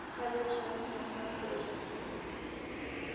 Hefja söfnun á flokkuðu sorpi